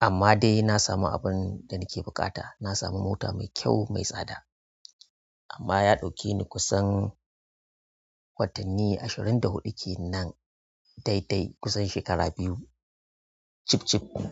amma dai na samu abin da nake buƙata. Na sami mota mai kyau mai tsada, amma ya ɗauke ni kusan watanni ashirin da huɗu kenan daidai kusan shekara biyu. Chip-chip ɗin.